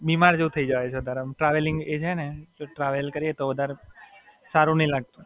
નહીં ગયો છું. પણ આમ વધારે બીમાર જેવુ થય જવાય છે આમ ટ્રાવેલિંગ એ છે ને, ટ્રાવેલ કરીએ તો વધારે સારું નહીં લાગતું.